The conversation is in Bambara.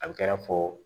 A bɛ kɛ i n'a fɔ